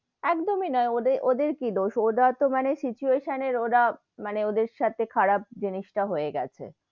একদমই নোই ওদের কি দোষ ওরা তো মানে situation এর ওরা, মানে ওদের সাথে খারাপ জিনিস তা হয়ে গেছে,